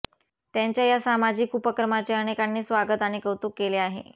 त्यांच्या या सामाजिक उपक्रमाचे अनेकांनी स्वागत आणि कौतुक केले आहे